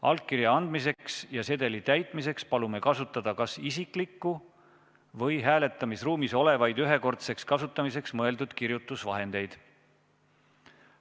Allkirja andmiseks ja sedeli täitmiseks palume kasutada kas isiklikku kirjutusvahendit või hääletamisruumis olevaid ühekordseks kasutamiseks mõeldud kirjutusvahendeid.